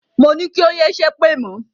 Moní kí o yé ṣépè mọ̀!